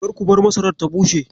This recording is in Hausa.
Kar ku bar masarar ta bushe.